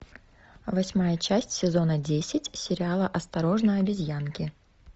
восьмая часть сезона десять сериала осторожно обезьянки